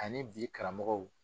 Ani bi karamɔgɔw